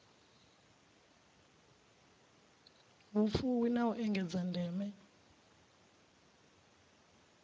vhufuwi na u engedza ndeme